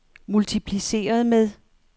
multipliceret med